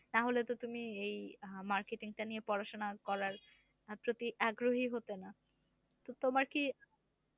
তাহলেতো তুমি এই marketing টা নিয়ে পড়াশোনা করার প্রতি আগ্রহী হতে না? তো তোমার কি?